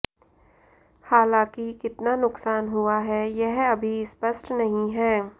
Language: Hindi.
हालांकि कितना नुकसान हुआ है यह अभी स्पष्ट नहीं है